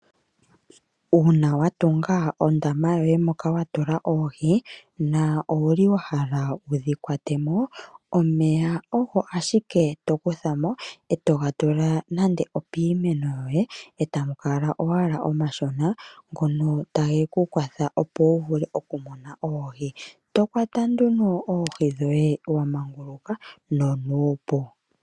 Uuna wa tunga ondama yoye moka wa tula oohi, na owuli wa hala wudhi kwatemo , omeya ogo ashike to kuthamo e to ga tula nande opiimeno yoye e tamu kala owala omashona ngono tage ku kwatha opo wu vule oku mona oohi, to kwata nduno oohi dhoye wa manguluka nonuupu.